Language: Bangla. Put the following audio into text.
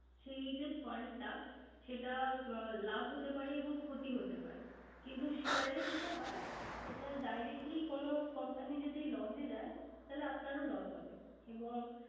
সেই যে fund টা সেটা লাভ ও হতে পারে এবং ক্ষতি হতে পারে। কিন্ত share যেটা হয় সেটা directly কোন company যদি loss এ যায়। তাইলে আপনারও হবে loss এবং